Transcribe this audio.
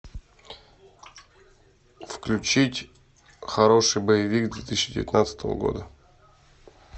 включить хороший боевик две тысячи девятнадцатого года